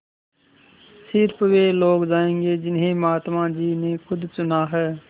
स़िर्फ वे लोग जायेंगे जिन्हें महात्मा जी ने खुद चुना है